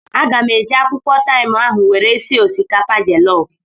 Aga m eji akwụkwọ taim ahụ were sie osikapa jellof